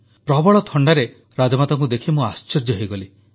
ପ୍ରବଳ ଥଣ୍ଡାରେ ରାଜମାତାଙ୍କୁ ଦେଖି ମୁଁ ଆଶ୍ଚର୍ଯ୍ୟ ହୋଇଗଲି